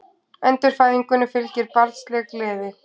Endurfæðingunni fylgir barnsleg gleði.